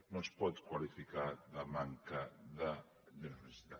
no es pot qualificar de manca de generositat